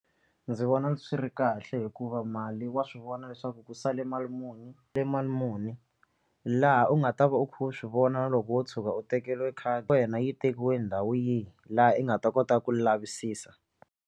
Ndzi vona swi ri kahle hikuva mali wa swi vona leswaku ku sale mali muni mali muni laha u nga ta va u kha u swi vona na loko wo tshuka u tekeriwe khadi wena yi tekiwe ndhawu yi laha u nga ta kota ku lavisisa.